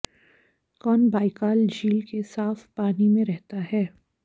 कौन बाइकाल झील के साफ पानी में रहता है